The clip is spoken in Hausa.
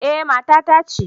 Eh, mata ta ce